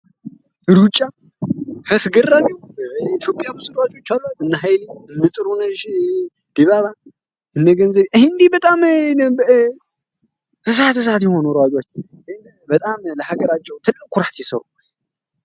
ሩጫ እስገራሚው ኢቶዮጵያ ብዙ ልጆች አሏት እነኃይሊ እነጥሩነሽ ዲባባ እነገንዘብ እነዚህ በጣም እሳት እሳት የሆኑ ልጆች በጣም ለሀገራቸው ትለቅ ኩራት የሰሩ ናቸው።